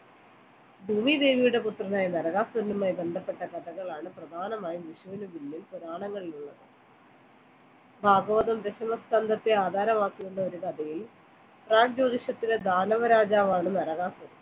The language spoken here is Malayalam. ഭൂമിദേവിയുടെ പുത്രനായ നരകാസുരനുആയി ബന്ധപ്പെട്ട കഥകളാണ് പ്രധാനമായും വിഷുവിന് പിന്നിൽ പുരാണങ്ങളിൽ ഉള്ളത് ഭാഗവതം ദശമസ്കന്ധം ആധാരമാക്കുന്ന ഒരു കഥയെയും ദാനവ രാജാവാണ് നരകാസുരൻ